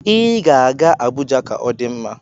Ị ga-aga Abuja ka ọ dị mma.